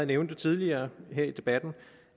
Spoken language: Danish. nævnt tidligere her i debatten